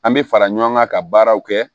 An bɛ fara ɲɔgɔn kan ka baaraw kɛ